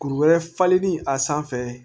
Kuru wɛrɛ falenli a sanfɛ